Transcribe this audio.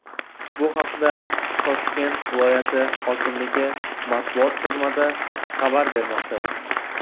Bu haqda Toshkent viloyati hokimligi matbuot xizmati xabar bermoqda .